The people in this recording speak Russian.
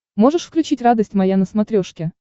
можешь включить радость моя на смотрешке